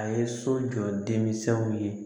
A ye so jɔ denminsɛnw ye